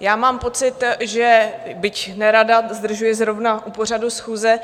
já mám pocit, že byť nerada, zdržuji zrovna u pořadu schůze.